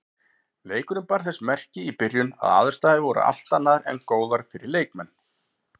Leikurinn bar þess merki í byrjun að aðstæður voru allt annað en góðar fyrir leikmenn.